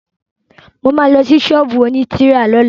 Mo ma lọ sí ṣọ́ọ̀bú òní tírà lọ́la